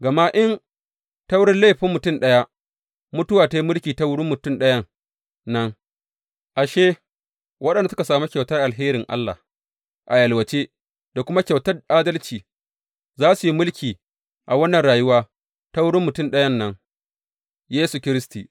Gama in, ta wurin laifin mutum ɗaya, mutuwa ta yi mulki ta wurin mutum ɗayan nan, ashe, waɗanda suka sami kyautar alherin Allah a yalwace da kuma kyautar adalci za su yi mulki a wannan rayuwa ta wurin mutum ɗayan nan, Yesu Kiristi.